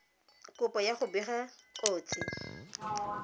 kopo ya go bega kotsi